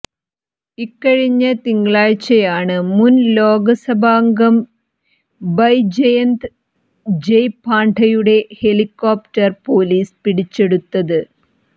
ഇക്കഴിഞ്ഞ തിങ്കളാഴ്ച്ചയാണ് മുൻ ലോകസഭാംഗം ബൈജയന്ത് ജയ് പാണ്ഡയുടെ ഹെലികോപ്റ്റർ പൊലീസ് പിടിച്ചെടുത